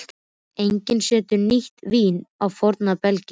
Enginn setur nýtt vín á forna belgi.